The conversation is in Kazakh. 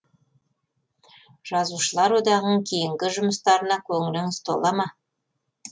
жазушылар одағының кейінгі жұмыстарына көңіліңіз тола ма